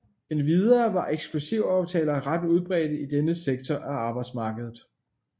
Endvidere var eksklusivaftaler ret udbredte i denne sektor af arbejdsmarkedet